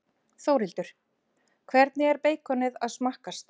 Þórhildur: Hvernig er beikonið að smakkast?